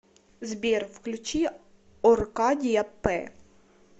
сбер включи оркадия пэ